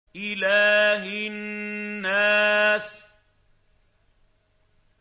إِلَٰهِ النَّاسِ